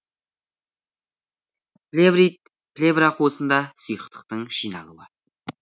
плеврит плевра қуысында сұйықтықтың жиналуы